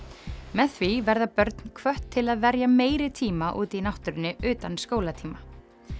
með því verða börn hvött til að verja meiri tíma úti í náttúrunni utan skólatíma